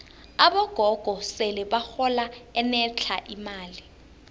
abogogo sele bahola enetlha imali